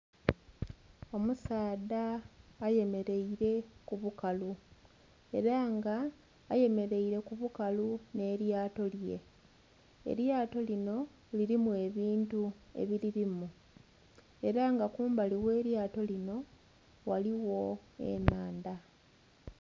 Omusaadha ayemereire ku bukalu era nga ayemereire ku bukalu nhe lyato lye, elyato linho lilimu ebintu ebililimu era nga kumbali ghe lyato linho ghaligho enhandha.